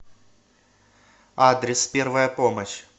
адрес первая помощь